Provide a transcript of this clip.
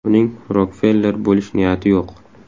Uning Rokfeller bo‘lish niyati yo‘q.